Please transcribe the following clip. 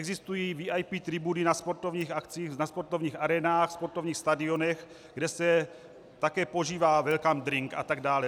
Existují VIP tribuny na sportovních akcích, ve sportovních arénách, sportovních stadionech, kde se také požívá welcome drink atd.